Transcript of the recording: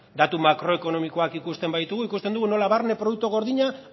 datu makroekonomikoak ikusten baditugu ikusten dugu nola barne produktu gordina